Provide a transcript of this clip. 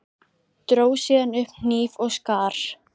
Dró síðan upp hníf og skar.